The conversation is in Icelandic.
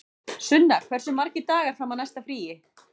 Sunna, hversu margir dagar fram að næsta fríi?